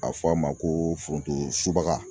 A fɔ a ma ko foronto subaga.